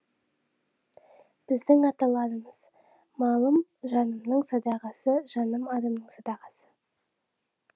біздің аталарымыз малым жанымның садағасы жаным арымның садағасы